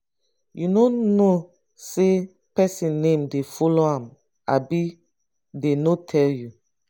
you no know say person name dey follow am abi dey no tell you.